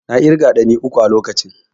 I counted three hand pan at the time.